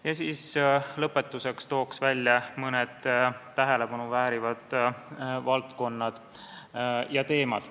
Ja lõpetuseks toon välja mõned tähelepanu väärivad valdkonnad ja teemad.